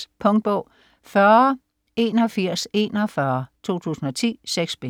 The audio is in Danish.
1663-1685. Punktbog 408141 2010. 6 bind.